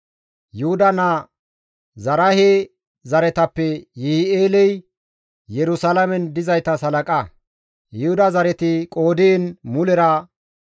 Yuhuda naa Zaraahe zaretappe Yi7i7eeley Yerusalaamen dizaytas halaqa. Yuhuda zareti qoodiin mulera 690.